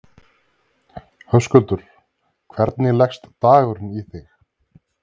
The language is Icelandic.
Höskuldur: Hvernig leggst dagurinn í þig?